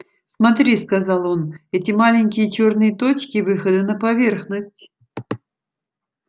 смотри сказал он эти маленькие чёрные точки выходы на поверхность